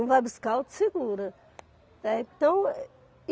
Um vai buscar, outro segura, eh, então é.